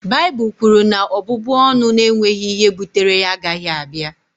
Baịbụl kwuru na ọbụbụ ọnụ na-enweghị ihe bụtere ya agaghị abịa